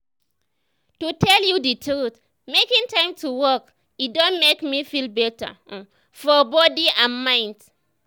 to tell you the truth making time to walk e don make me feel better um for body and mind.